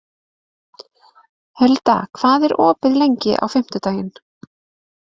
Hulda, hvað er opið lengi á fimmtudaginn?